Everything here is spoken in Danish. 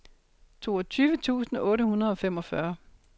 toogtyve tusind otte hundrede og femogfyrre